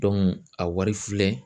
a wari filɛ